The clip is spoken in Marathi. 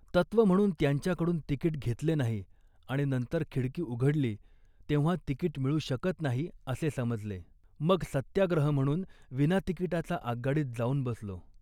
तत्व म्हणून त्यांच्याकडून तिकीट घेतले नाही आणि नंतर खिडकी उघडली तेव्हा तिकीट मिळू शकत नाही असे समजले. मग सत्याग्रह म्हणून विनातिकिटाचा आगगाडीत जाऊन बसलो